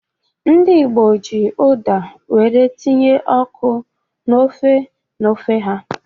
Ndị Igbo ji Uda were tinye ọkụ na ofe na ofe ha.